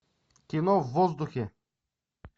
кино в воздухе